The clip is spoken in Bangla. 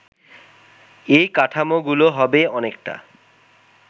এই কাঠামোগুলো হবে অনেকটা